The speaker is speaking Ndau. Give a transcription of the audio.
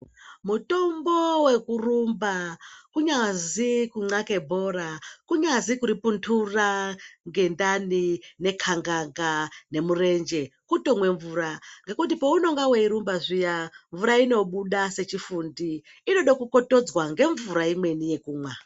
Mutombo wekurumba kunyazi kunxake bhora, kunyazi kuripuntura ngendani nekhangaga nemurenje kutomwe mvura ngekuti paunenge weirumba zviya mvura inobuda sechifundi, inoda kukotodzwa ngemvura imweni yekumwa.